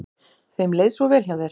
Þeim leið svo vel hjá þér.